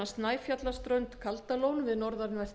snæfjallaströnd kaldalón við norðanvert